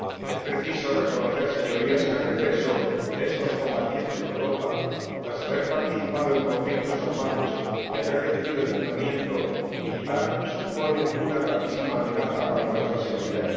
Es preciso reconocer, Señorías, que el regreso de estos combatientes a Europa tras haber participado en conflictos armados y haber recibido entrenamiento militar supone una gravísima amenaza para nuestra seguridad.